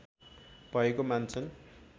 भएको मान्छन्